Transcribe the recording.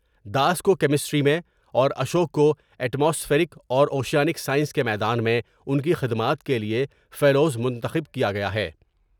داس کو کیمسٹری میں اور اشوک کو ایٹ ماسفیرک اور اوشیانک سائنس کے میدان میں ان کی خدمات کے لیے فیلو منتخب کیا گیا ہے ۔